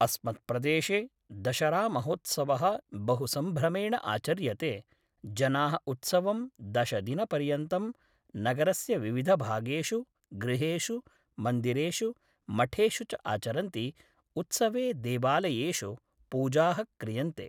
अस्मत्प्रदेशे दशरामहोत्सवः बहु सम्भ्रमेण आचर्यते जनाः उत्सवं दशदिनपर्यन्तं नगरस्य विविधभागेषु गृहेषु मन्दिरेषु मठेषु च आचरन्ति उत्सवे देवालयेषु पूजाः क्रियन्ते